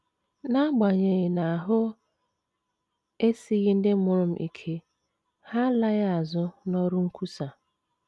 N’agbanyeghị na ahụ esighị ndị mụrụ m ike, ha alaghị azụ n’ọrụ nkwusa.